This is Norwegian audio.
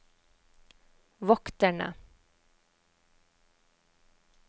vokterne